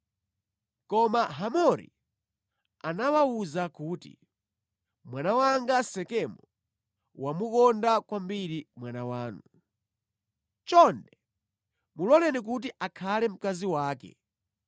Koma Hamori anawawuza kuti, “Mwana wanga Sekemu wamukonda kwambiri mwana wanu. Chonde muloleni kuti akhale mkazi wake.